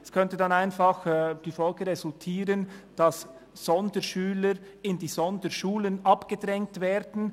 Es könnte dann einfach die Folge resultieren, dass Sonderschüler in die Sonderschulen abgedrängt werden.